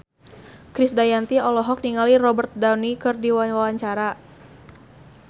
Krisdayanti olohok ningali Robert Downey keur diwawancara